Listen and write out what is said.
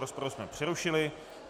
Rozpravu jsme přerušili.